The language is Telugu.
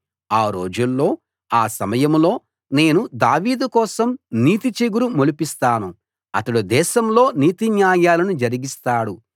ఆ రోజుల్లో ఆ సమయంలో నేను దావీదు కోసం నీతి చిగురు మొలిపిస్తాను అతడు దేశంలో నీతి న్యాయాలను జరిగిస్తాడు